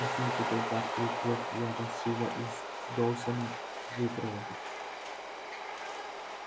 посмейте только открыть рот я вас живо из доусона выпровожу